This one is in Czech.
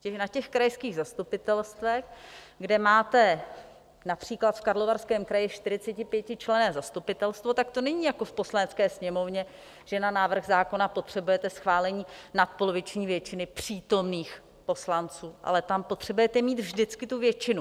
Na těch krajských zastupitelstvech, kde máte například v Karlovarském kraji 45členné zastupitelstvo, tak to není jako v Poslanecké sněmovně, že na návrh zákona potřebujete schválení nadpoloviční většinou přítomných poslanců, ale tam potřebujete mít vždycky tu většinu.